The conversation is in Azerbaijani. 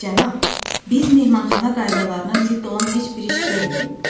Cənab, biz mehmanxana qaydalarına zidd olan heç bir iş görmürük.